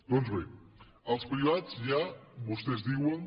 doncs bé els privats ja vostès diuen